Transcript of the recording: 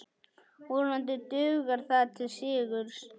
Vonandi dugar það til sigurs.